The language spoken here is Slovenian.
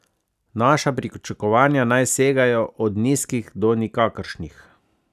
Naša pričakovanja naj segajo od nizkih do nikakršnih.